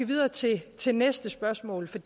videre til til næste spørgsmål for